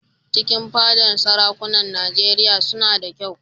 Cikin fadar sarakunan Nijeriya suna da kyau